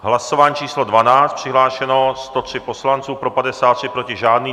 Hlasování číslo 12, přihlášeno 103 poslanců, pro 53, proti žádný.